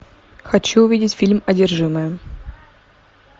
хочу увидеть фильм одержимая